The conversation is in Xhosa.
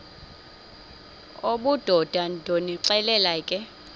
obudoda ndonixelela ke